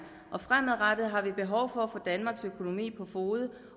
og fremadrettet har vi behov for at få danmarks økonomi på fode